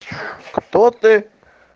кто ты